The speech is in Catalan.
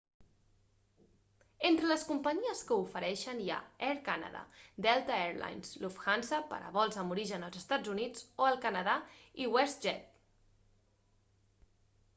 entre les companyies que ho ofereixen hi ha air canada delta air lines lufthansa per a vols amb origen als eua o el canadà i westjet